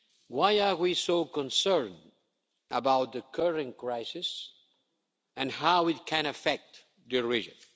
Why are we so concerned about the current crisis and how it can affect the region?